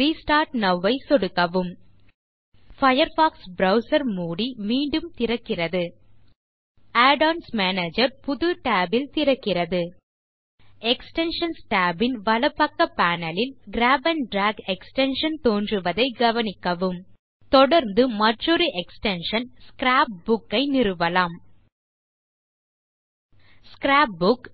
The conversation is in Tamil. ரெஸ்டார்ட் நோவ் ஐ சொடுக்கவும் பயர்ஃபாக்ஸ் ப்ரவ்சர் மூடி மீண்டும் திறக்கிறது add ஒன்ஸ் மேனேஜர் புது tab ல் திறக்கிறது எக்ஸ்டென்ஷன்ஸ் tab ன் வலப்பக்க பேனல் ல் கிராப் ஆண்ட் டிராக் எக்ஸ்டென்ஷன் தோன்றுவதைக் கவனிக்கவும் தொடர்ந்து மற்றொரு எக்ஸ்டென்ஷன் ஸ்க்ராப் புக் ஐ நிறுவலாம் ஸ்க்ராப் புக்